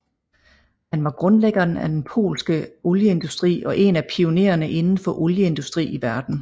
Han var grundlæggeren af den polske olieindustri og en af pionererne inden for olieindustri i verden